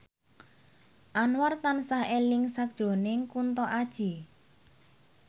Anwar tansah eling sakjroning Kunto Aji